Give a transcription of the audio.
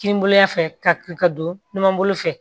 Kininboloɲan fɛ ka don numan bolo fɛ